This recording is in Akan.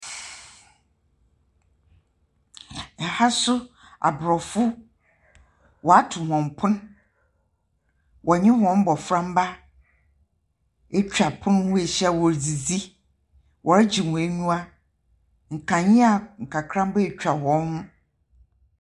Aha nso Abrɔfo; wɔato wɔn pon. Wɔnye wɔn mboframba atwa pon ho ahyia wɔredzidzi. Wɔregye wɔn anyiwa. Nkanea nkakramba atwa wɔn ho.